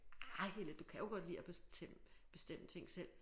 Ah Helle du kan jo godt lide at bestemme bestemme ting selv